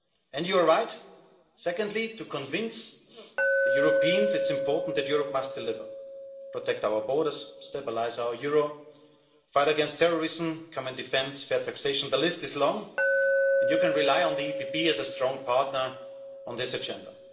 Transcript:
And you are right, secondly, to convince Europeans it is important that Europe must deliver protect our borders, stabilise our euro, fight against terrorism, common defence, fair taxation the list is long and you can rely on the PPE as a strong partner in this agenda.